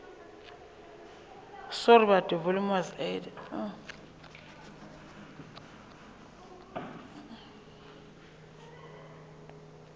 neelane ka kopo ya hao